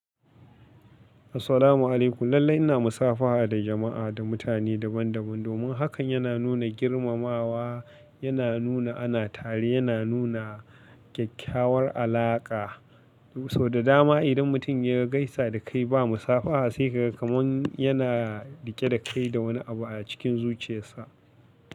Assalamu alaikum. Lallai ina musafaha da jama'a da mutane daban daban. Domin hakan yana nuna girmamawa, yana nuna ana tare, yana nuna kyakkyawar alaƙa. To so da dama idan mutum ya gaisa da kai ba musafaha sai ka ga kamar yana riƙe da kai da wani abu a cikin zuchiyarsa.